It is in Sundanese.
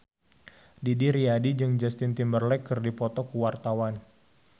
Didi Riyadi jeung Justin Timberlake keur dipoto ku wartawan